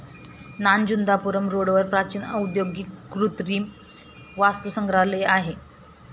नान जुंदा पुरम रोडवर प्राचीन औद्योगिक कृत्रिम वास्तु संग्रहालय आहे